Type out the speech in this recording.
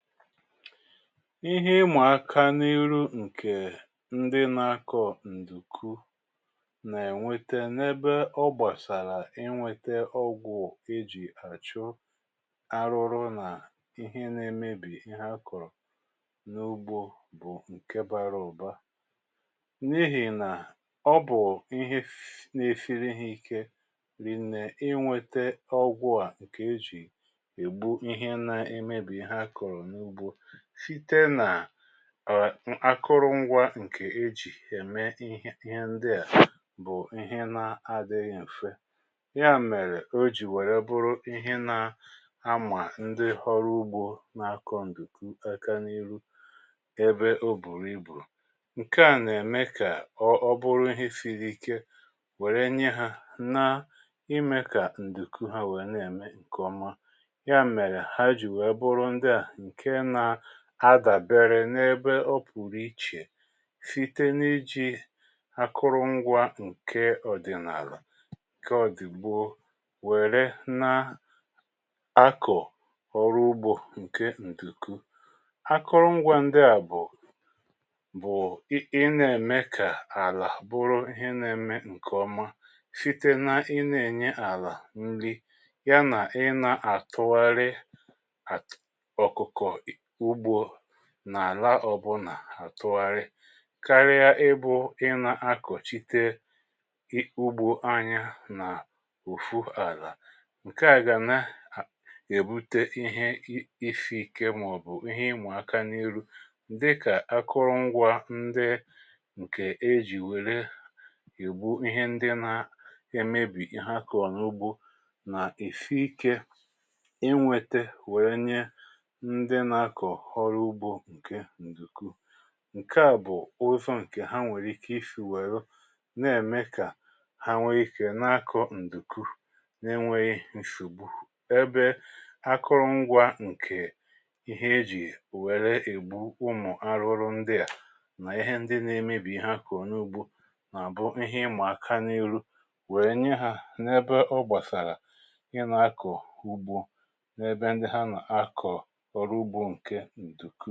Ihe ịmà aka n’ihu ǹkè ndị nȧ-ȧkọ̀ ǹdùku nà-ènweta n’ebe ọ gbàsàrà ị nweta ọgwụ̀ e jì àchụ ahụhụ nà ihe nȧ-ėmebì ihe a kọ̀rọ̀ n’ugbȯ bụ̀ ǹke bara ụ̀ba. N’ihì nà ọ bụ̀ ihe n’esiri ha ike rìe nne ịnweta ọgwụ̀ a ǹkè e jì ègbu ihe nȧ-ėmebì ihe a kọ̀rọ̀ n’ugbo site na um ákụrụngwá ǹkè ejì ème ihe ihe ndị a bụ ihe na adịghị mfe. Ya mèrè o jì wère bụrụ ihe na ama ndị ọrụ ugbo n’akọ ǹdùku aka n’ihu ebe o bùrù ibù. Nke à nà-ème kà ọ ọ bụrụ ihe siri ike wère nye ha na imė kà ǹdùku ha wèe nà-ème ǹkè ọma, ya mere ha ji wee bụrụ ndị a nke na adàbere n’ebe ọ pụ̀rụ̀ ichè site n’ijì akụrụngwa ǹke ọ̀dị̀nààlà, ǹke ọ̀dị̀gboo, wère nà-akọ̀ ọrụ ugbȯ ǹke ǹdùku. Akụrụngwa ndị à bụ̀ bụ̀ ị nà-ème kà àlà bụrụ ihe na-ème ǹkè ọma site na ị nà-ènye àlà nri, ya nà ị nà-àtụgharị atụ ọkụkọ ugbo nà àlà ọ̀ bụ là àtụgharị karịa ịbụ̇ ị nà akọ̀chite ugbo anya nà otu àlà. Nkè a gà na-èbute ihe isị ike mà ọ̀ bụ̀ ihe ịma aka n’ihu dịkà akụrụngwa ndị ǹkè e jì wère egbu ihe ndị na-emebì ihe a kọrọ n’ugbȯ nà esi ike inwėte wèe nye ndị n’akọ ọrụ ugbo nke nduku. Nkè a bụ̀ ụzọ ǹkè ha nwèrè ike isi nwèrè na-ème kà ha nwee ikė na-akọ ǹdùku nà-enweghì nsògbu ebe akụrụngwa ǹkè ihe ejì wère ègbu ụmụ̀ ahụhụ ndị à nà ihe ndị na emebi ihe a kọrọ n’ugbȯ nà-àbụ ihe ịma aka n’ihu wee nye ha n’ebe ọ gbasara ị na akọ ugbo n’ebe ndị ha n’akọ ọru ugbo nke ǹdùkú.